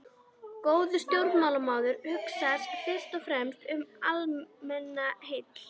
Góður stjórnmálamaður hugsar fyrst og fremst um almannaheill.